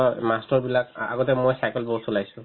অ, মাষ্টৰবিলাক আ~ আগতে মই cycle বহুত চলাইছো